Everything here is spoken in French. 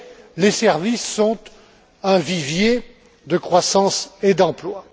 Mais les services sont un vivier de croissance et d'emploi.